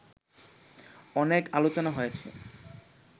অনেক আলোচনা হয়েছে